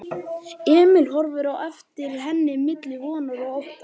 Emil horfði á eftir henni milli vonar og ótta.